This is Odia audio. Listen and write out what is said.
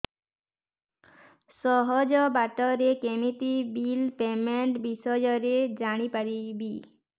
ସହଜ ବାଟ ରେ କେମିତି ବିଲ୍ ପେମେଣ୍ଟ ବିଷୟ ରେ ଜାଣି ପାରିବି